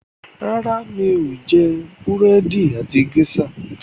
ràrá mi'o jé Búrẹ́di àti geisha.